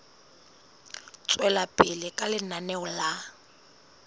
tswela pele ka lenaneo la